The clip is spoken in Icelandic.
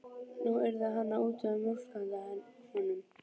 Nú yrði hann að útvega mjólk handa honum.